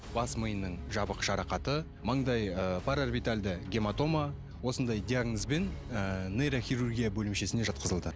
бас миының жабық жарақаты маңдай ы параорбитальды гематома осындай диагнозбен ы нейрохирургия бөлімшесіне жатқызылды